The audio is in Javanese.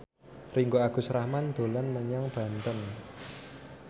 Ringgo Agus Rahman dolan menyang Banten